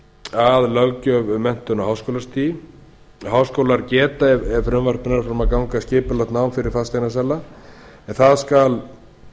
að löggjöf um menntun á háskólastigi háskólar geta ef frumvarp nær fram að ganga skipulagt nám fyrir fasteignasala en það